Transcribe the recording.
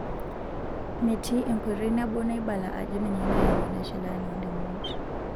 Metii enkoitoi nabo naibala ajo ninye nayau ena shalan oondamunot.